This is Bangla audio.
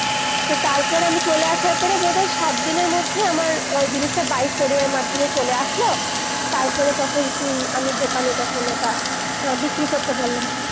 তো তার পরে আমি চলে আসার পরে বোধায় সাত দিনের মধ্যে আমার ওই জিনিস তা by courier এর মাধ্যমে চলে আসলো, তার পরে তখন তু-আমি দোকানে তখন ওটা আ-বিক্রি করতে পারলাম